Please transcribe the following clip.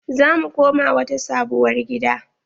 Za mu koma wata sabuwar gida.